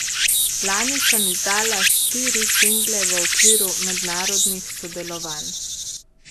Lani sem izdala štiri single v okviru mednarodnih sodelovanj.